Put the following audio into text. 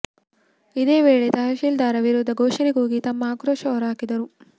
ಇದೇ ವೇಳೆ ತಹಶಿಲ್ದಾರ ವಿರುದ್ಧ ಘೋಷಣೆ ಕೂಗಿ ತಮ್ಮ ಆಕ್ರೋಶ ಹೊರಹಾಕಿದರು